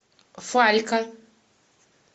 фалька